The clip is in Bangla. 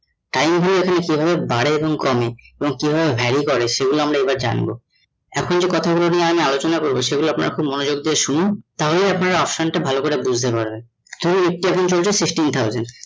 time কিভাবে বাড়ে এবং কমে এবং কিভাবে vary করে সেই গুলো এবার আমরা জানবো। এখন যে কথা গুল নিয়ে আমি আলোচনা করবো সেই গুলো আপনারা খুব মনোযোগ দিয়ে শুনুন তাহলে আপনারা option টা ভালো করে বুঝতে পারবেন, nifty এখন চলছে sixteen thousand